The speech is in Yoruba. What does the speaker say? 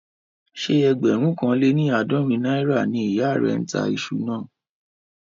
Ṣé ẹgbẹ̀rún kan lé ní àádọ́rin náírà ni ìyá rẹ̀ ń tà iṣu náà?